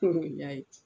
y'a ye